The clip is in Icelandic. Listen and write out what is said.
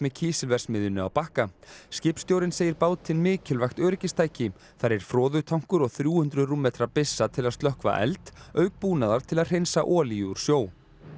kísilverksmiðjunni á Bakka skipstjórinn segir bátinn mikilvægt öryggistæki þar er froðutankur og þrjú hundruð rúmmetra byssa til að slökkva eld auk búnaðar til þess að hreinsa olíu úr sjó